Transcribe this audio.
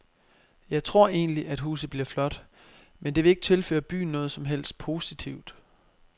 Jeg tror egentlig, at huset bliver flot, men det vil ikke tilføre byen noget som helst positivt.